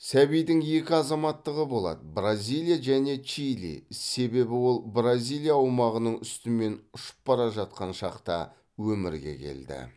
сәбидің екі азаматтығы болады бразилия және чили себебі ол бразилия аумағының үстімен ұшып бара жатқан шақта өмірге келді